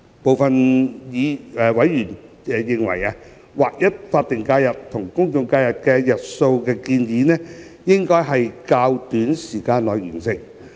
部分委員認為，劃一法定假日與公眾假期日數的建議，應在較短時間內完成。